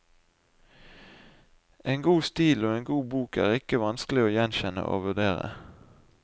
En god stil og en god bok er ikke vanskelig å gjenkjenne og vurdere.